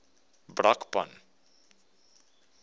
brakpan